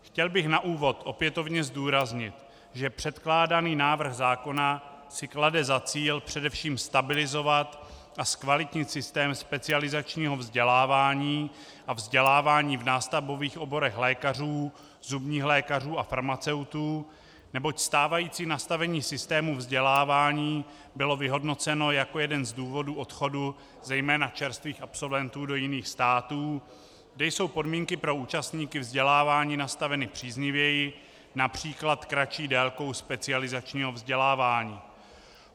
Chtěl bych na úvod opětovně zdůraznit, že předkládaný návrh zákona si klade za cíl především stabilizovat a zkvalitnit sytém specializačního vzdělávání a vzdělávání v nástavbových oborech lékařů, zubních lékařů a farmaceutů, neboť stávající nastavení systému vzdělávání bylo vyhodnoceno jako jeden z důvodů odchodu zejména čerstvých absolventů do jiných států, kde jsou podmínky pro účastníky vzdělávání nastaveny příznivěji, například kratší délkou specializačního vzdělávání.